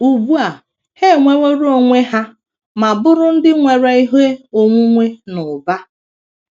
Ugbu a, ha enwerewo onwe ha ma bụrụ ndị nwere ihe onwunwe n’ụba.